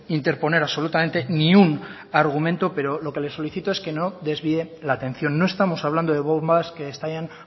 interponer absolutamente ni un argumento pero lo que le solicito es que no desvíe la atención no estamos hablando de bombas que estallan